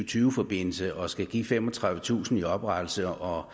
tyve forbindelse og skal give femogtredivetusind kroner i oprettelse og